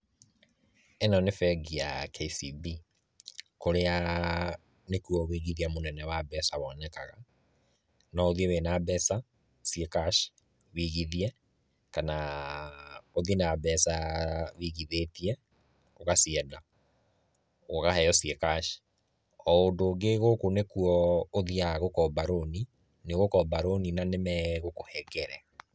Ĩno nĩ bengi ya KCB, kũrĩa nĩkuo wũigithia mũnene wa mbeca wonekaga, no ũthiĩ wĩna mbeca, ciĩ cash wũigithie, kana ũthiĩ na mbeca wũigithĩtie ũgacienda, ũkaheo ciĩ cash, o ũndũ ũngĩ gũkũ nĩkuo ũthiaga gũkomba rũni, nĩũgukomba rũni na nĩmegũkũhengere.